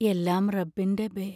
എല്ലാം റബ്ബിന്റെ ബേ